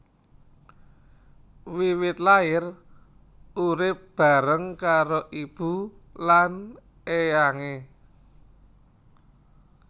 Wiwit lair urip bareng karo ibu lan éyangé